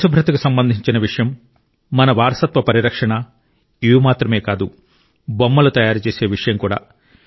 పరిశుభ్రతకు సంబంధించిన విషయం మన వారసత్వ పరిరక్షణ ఇవి మాత్రమే కాదు బొమ్మలు తయారుచేసే విషయం కూడా